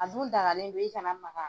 A dun dagalen don e kana maga.